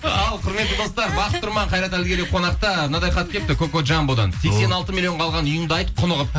ал құрметті достар бақыт тұрман қайрат әділгерей қонақта мынадай хат келіпті кокоджамбодан сексен алты миллионға алған үйіңді айт құнығып